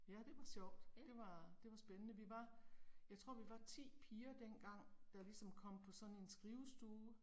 Ja det var sjovt, det var, det var spændende. Vi var, jeg tror vi var 10 piger dengang, der ligesom kom på sådan en skrivestue